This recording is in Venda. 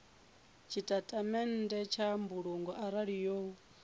tshitatamennde tsha mbulungo arali yo